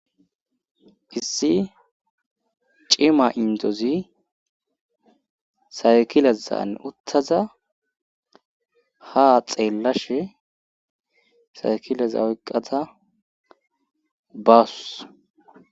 issi cima indozi saykilezan uttaza ha xeellashe saykileza oyqqata bawus